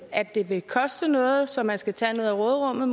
at det vil koste noget så man måske skal tage noget af råderummet